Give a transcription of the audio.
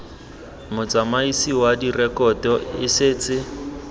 motsamaisi wa direkoto e setse